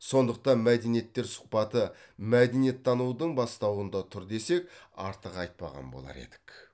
сондықтан мәдениеттер сұхбаты мәдениеттанудың бастауында тұр десек артық айтпаған болар едік